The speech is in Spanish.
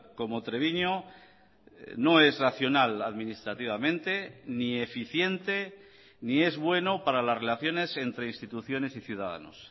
como treviño no es racional administrativamente ni eficiente ni es bueno para las relaciones entre instituciones y ciudadanos